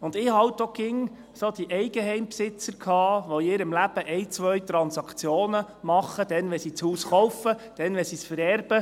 Und ich habe halt auch immer die Eigenheimbesitzer gehabt, die in ihrem Leben eine oder zwei Transaktionen machen, dann, wenn sie das Haus kaufen und dann, wenn sie es vererben.